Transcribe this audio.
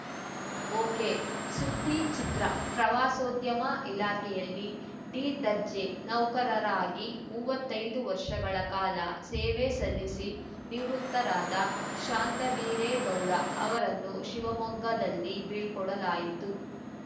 ಒಕೆಸುದ್ದಿಚಿತ್ರ ಪ್ರವಾಸೋದ್ಯಮ ಇಲಾಖೆಯಲ್ಲಿ ಡಿದರ್ಜೆ ನೌಕರರಾಗಿ ಮೂವತ್ತೈದು ವರ್ಷಗಳ ಕಾಲ ಸೇವೆ ಸಲ್ಲಿಸಿ ನಿವೃತ್ತರಾದ ಶಾಂತವೀರೇಗೌಡ ಅವರನ್ನು ಶಿವಮೊಗ್ಗದಲ್ಲಿ ಬೀಳ್ಕೊಡಲಾಯಿತು